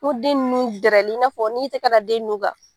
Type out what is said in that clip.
N ko den nun dɛrɛlɛ i n'a fɔ n'i y'i tɛgɛ da den nun kan.